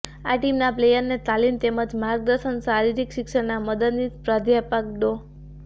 આ ટીમના પ્લેયરને તાલીમ તેમજ માર્ગદર્શન શારીરિક શિક્ષણના મદદનીશ પ્રાધ્યપક ડો